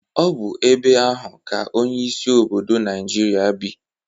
Ọ bụ ebe ahụ ka onyeisi obodo Naịjirịa bii.